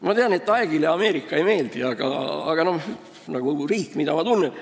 Ma tean, et Aegile Ameerika ei meeldi, aga see on riik, mida ma tunnen.